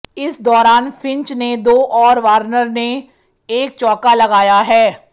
इस दौरान फिंच ने दो और वॉर्नर ने एक चौका लगाया है